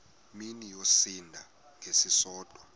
mini yosinda ngesisodwa